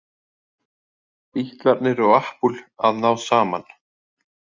Bítlarnir og Apple að ná saman